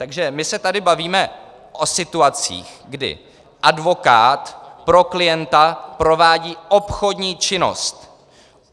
Takže my se tady bavíme o situacích, kdy advokát pro klienta provádí obchodní činnost.